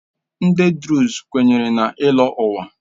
Ndị Druze kwenyere na ịlọ ụwa.